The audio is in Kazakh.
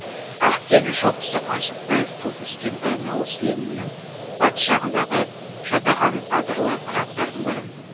ақкелін шоқысы қаныш сәтбаев туып өскен баянауыл сілемінің батыс жағындағы жатаған адырлы қыраттардың бірі